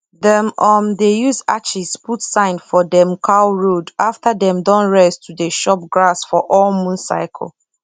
dem um dey use ashes put sign for dem cow road after dem don rest to dey chop grass for all moon cycle